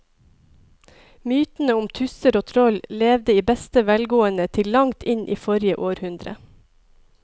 Mytene om tusser og troll levde i beste velgående til langt inn i forrige århundre.